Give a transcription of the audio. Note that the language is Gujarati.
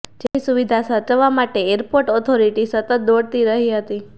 જેમની સુવિધા સાચવવા માટે એરપોર્ટ ઓથોરિટી સતત દોડતી રહી હતી